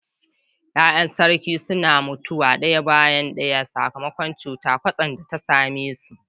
Ya’yan sarki suna mutuwa daya bayan daya sakamakon cutar kwatsam da ta same su.